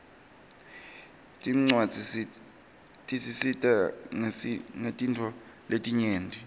tincuadzi tisisita ngetintfo letinyenti